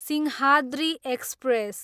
Simhadri express